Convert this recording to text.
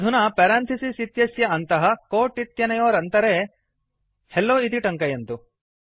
अधुना पेरांथिसिस् इत्यस्य अन्तः कोट् इत्यनयोरन्तरे हेल्लो इति टङ्कयन्तु